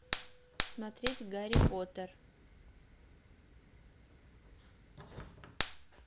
смотреть гарри поттер